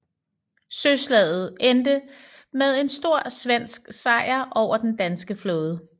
Søslaget endte med en stor svensk sejr over den danske flåde